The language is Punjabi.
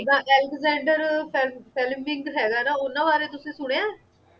ਜਿੱਦਾਂ ਅਲੈਕਸਜੈਂਡਰ ਫੇਲ ਫਲੇਮਿੰਗ ਹੈਗਾ ਨਾ ਉਨ੍ਹਾਂ ਬਾਰੇ ਤੁਸੀਂ ਸੁਣਿਆ?